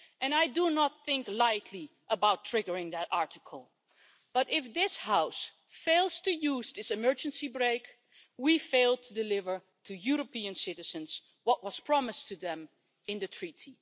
I do not think lightly about triggering that Article, but if this House fails to use this emergency brake, we fail to deliver to European citizens what was promised to them in the Treaty.